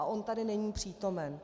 A on tady není přítomen.